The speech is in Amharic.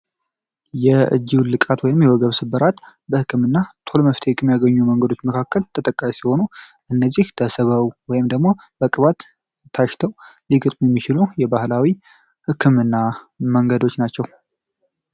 የእጂው ዉልቃት ወይም የወገብስበራት በሕክምና ቶሎ መፍት ሕክም ያገኙ መንገዶች መካከል ተጠቃሽ ሲሆኑ እነዚህ ተሰበው ወይም ደግሞ በቅባት ታሽተው ሊግጥም የሚችሉ የባህላዊ ሕክምና መንገዶች ናቸው